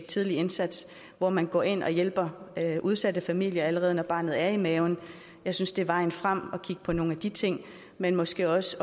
tidlig indsats hvor man går ind og hjælper udsatte familier allerede når barnet er i maven jeg synes det er vejen frem at kigge på nogle af de ting men måske også